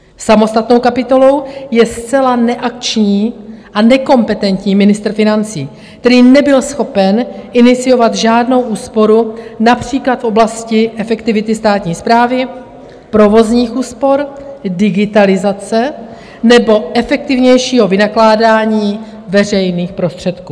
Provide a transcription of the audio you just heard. Samostatnou kapitolou je zcela neakční a nekompetentní ministr financí, který nebyl schopen iniciovat žádnou úsporu, například v oblasti efektivity státní správy, provozních úspor, digitalizace nebo efektivnějšího vynakládání veřejných prostředků.